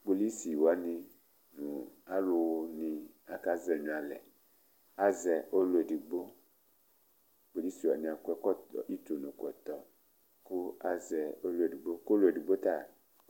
Kpolusi wani nʋ alu ni aka zɛnyʋɛ alɛ Azɛ ɔlu ɛdigbo Kpolusi wani akɔ ʋtʋnʋ kɔtɔe kʋ azɛ ɔlu ɛdigbo kʋ ɔlu ɛdigbo ta